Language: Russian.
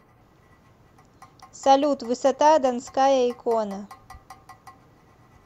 салют высота донская икона